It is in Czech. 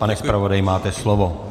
Pane zpravodaji, máte slovo.